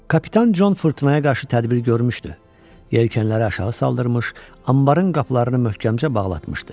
Kapitan Con fırtınaya qarşı tədbir görmüşdü, yelkənləri aşağı saldırrmış, anbarın qapılarını möhkəmcə bağlatmışdı.